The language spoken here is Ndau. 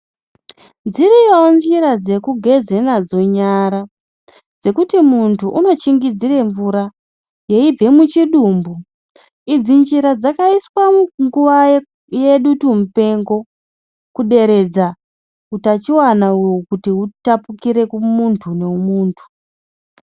Dziriyowo njira dzekugeze nadzo nyara dzekuti muntu unochingidzire mvura yeibve muchidumbu, idzi njira dzakaiswa munguwa yedutu mupengo kuderedza utachiwana kuti utapukire kumuntu nemuntu.